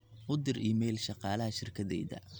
u dir iimayl shaqalaha shirkadeyda